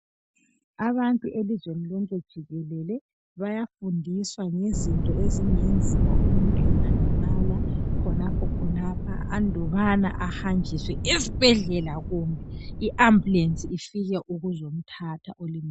Abantu elizweni lonke jikelele bayafundiswa ngezinto ezingenziwa umuntu engalimala khonapho khonapho andubana ahanjiswe esibhedlela kumbe i ambulensi ifike ukuzomthatha olimeleyo.